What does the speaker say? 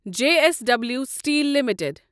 J S W steel limited